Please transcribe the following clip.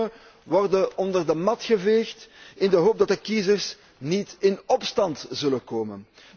De problemen worden onder de mat geveegd in de hoop dat de kiezers niet in opstand zullen komen.